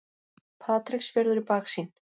Patreksfjörður í baksýn.